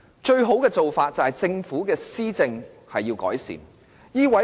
最好的做法，是政府可以改善施政。